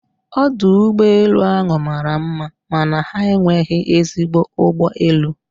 Ọdụ ụgbọ elu ahụ mara mma mana ha enweghị ezigbo ụgbọ elu